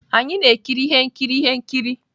Anyị na-ekiri ihe nkiri ihe nkiri.